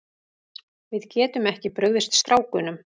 Við getum ekki brugðist strákunum.